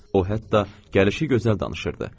O, hətta gəlişi gözəl danışırdı.